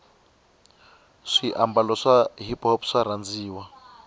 swi ababalo swa hiphop swarhandziwa